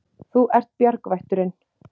Þú ert bjargvætturin.